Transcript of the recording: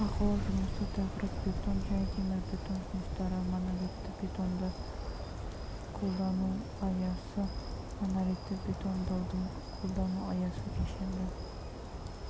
бақылау жұмысы тақырып бетон және темірбетон жұмыстары монолитті бетондауды қолдану аясы монолитті бетондаудың қолдану аясы кешенді